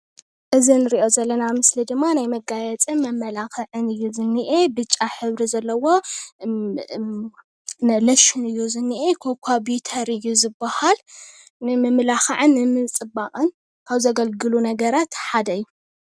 አዝ አኒርኦ ዘለና ምስሊ ድማ ናይ መጋየፂን ናይ መማላክዒን እዩ ዝኒኤ። ብጫ ሕብሪ ዘሎዎ ሎሽን እዩ ዝኒኤ ኮካ በተር እዩ ዝባሃል ንምምልካዓ ንምፅባቅን ካብ ዘግሉግሉ ሓደ እዩ፡፡